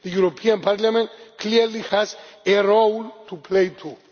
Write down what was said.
same. The European Parliament clearly has a role to play,